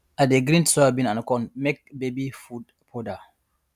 i dey grind soybean and corn make baby food powder